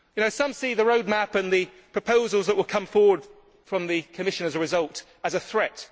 it. Some see the Roadmap and the proposals that will come forward from the Commission as a result as a threat.